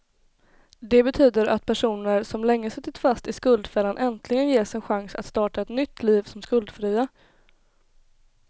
Det betyder att personer som länge suttit fast i skuldfällan äntligen ges en chans att starta ett nytt liv som skuldfria.